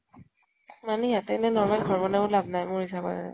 মানে সিহতে এনে normal ঘৰ বনায়ও লাভ নাই মোৰ হিচাপত আৰু।